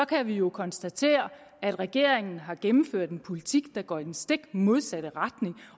kan vi jo konstatere at regeringen har gennemført en politik der går i den stik modsatte retning